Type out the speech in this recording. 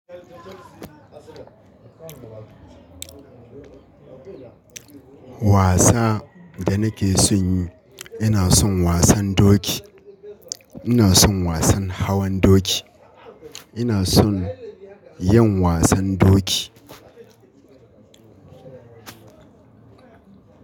Wasa da nake son yi, ina son wasan doki. Ina son wasan hawan doki. Ina son yin wasan doki.